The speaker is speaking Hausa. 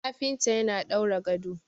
kafinta yana daura gado